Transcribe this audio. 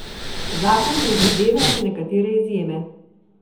Zakon predvideva še nekatere izjeme.